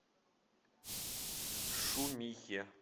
шумихе